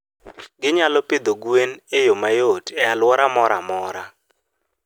Ginyalo pidho gwen e yo mayot e alwora moro amora.